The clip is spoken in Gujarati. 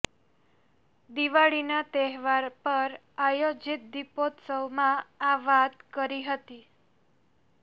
દિવાળીના તહેવાર પર આયોજીત દીપોત્સવમાં આ વાત કરી હતી